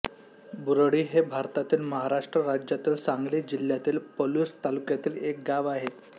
बुरळी हे भारतातील महाराष्ट्र राज्यातील सांगली जिल्ह्यातील पलुस तालुक्यातील एक गाव आहे